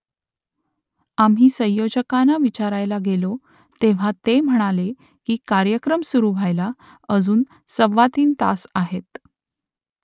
आम्ही संयोजकांना विचारायला गेलो तेव्हा ते म्हणाले की कार्यक्रम सुरू व्हायला अजून सव्वातीन तास आहेत